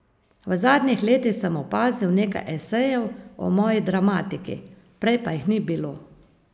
V zadnjih letih sem opazil nekaj esejev o moji dramatiki, prej pa jih ni bilo.